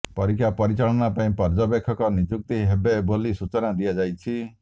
ପରୀକ୍ଷା ପରିଚାଳନା ପାଇଁ ପର୍ଯ୍ୟବେକ୍ଷକ ନିଯୁକ୍ତ ହେବେ ବୋଲି ସୂଚନା ଦିଆଯାଇଛି